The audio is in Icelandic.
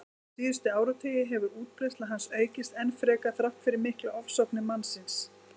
Síðustu áratugi hefur útbreiðsla hans aukist enn frekar þrátt fyrir miklar ofsóknir mannsins.